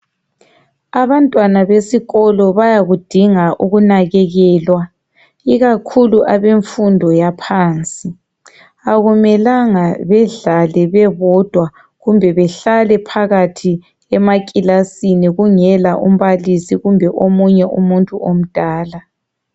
Abantwana besikolo bayakudinga ukunakekelwa ikakhulu abemfundo yaphansi akumelanga bedlale bebodwa kumbe behlale bodwa phakathi emaclassini kungela umbalisi kumbe omunye umuntu omdala